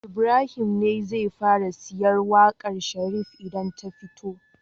Ibrahim ne zai fara sayen waƙar Sharif idan ta fito